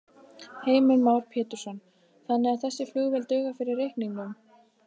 Heimir Már Pétursson: Þannig að þessi flugvél dugar fyrir reikningnum?